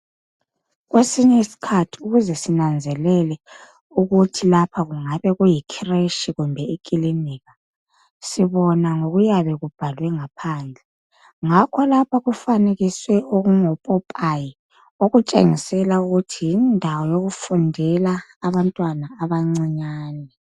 Kwesinye isikhathi ukuze sinanzelele ukuthi lapha kungabe kuyi khireshi kumbe ikilinika. sibona ngokuyabe kubhalwe ngaphandle ngakho lapha kufanekiswe okungopopayi okutshengisela ukuthi yindawo yokufundela abantwana abancane.